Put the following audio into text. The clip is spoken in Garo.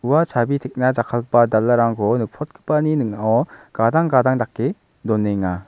ua chabi tekna jakkalgipa dalarangko nikprotgipani ning·ao gadang gadang dake donenga.